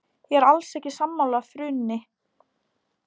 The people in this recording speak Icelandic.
Ég er alls ekki sammála frúnni.